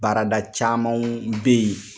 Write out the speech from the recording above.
Baarada camanw be yen